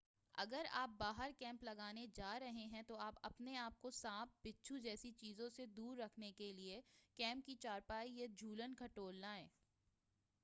اگر آپ باہر کیمپ لگانے جارہے ہیں تو آپ اپنے آپ کو سانپ بچھو جیسی چیزوں سے دور رکھنے کے لئے کیمپ کی چارپائی یا جہولن کہٹول لائیں